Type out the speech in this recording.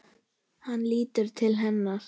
Hann lítur til hennar.